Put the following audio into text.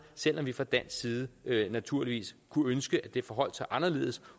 selv om vi fra dansk side naturligvis kunne ønske at det forholdt sig anderledes